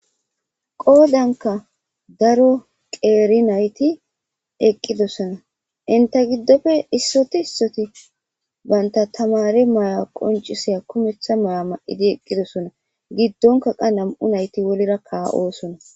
qoodanka daro qeeri nayti eqqidosona inta giddofe issoti issoti banta tamare may7a qoncisiya kumetha mala ma7idi eqqidosona giddonka qa nam7u nayti wolira ka7oosona